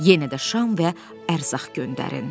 Yenə də şam və ərzaq göndərin.